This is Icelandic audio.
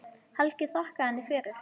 Helgi þakkaði henni fyrir.